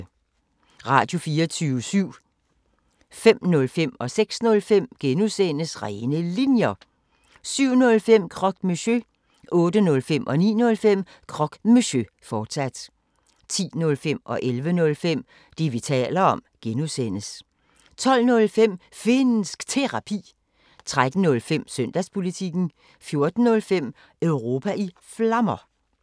Radio24syv